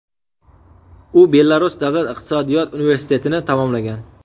U Belarus davlat iqtisodiyot universitetini tamomlagan.